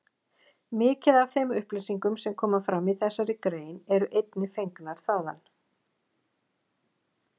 Mikið af þeim upplýsingum sem koma fram í þessari grein eru einnig fengnar þaðan.